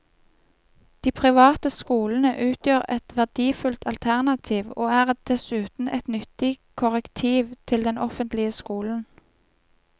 De private skolene utgjør et verdifullt alternativ, og er dessuten et nyttig korrektiv til den offentlige skolen.